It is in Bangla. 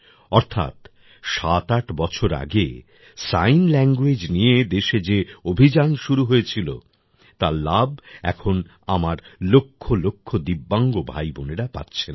অর্থাৎ সাতআট বছর আগে সাইন ল্যাংগুয়েজ নিয়ে দেশে যে অভিযান শুরু হয়েছিল তার লাভ এখন আমার লক্ষ লক্ষ দিব্যাংগ ভাইবোনরা পাচ্ছেন